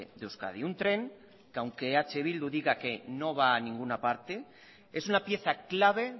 de euskadi un tren que aunque eh bildu diga que no va a ninguna parte es una pieza clave